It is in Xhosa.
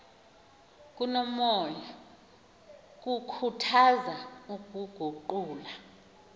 komoya kukhuthaza ukuguqula